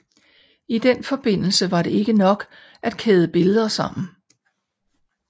I den forbindelse var det ikke nok blot at kæde billeder sammen